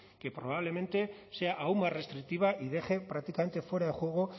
que probablemente sea aún más restrictiva y deje prácticamente fuera de juego